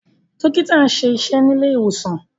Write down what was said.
Dókítà nṣe iṣé ní ilé ìwòsàn.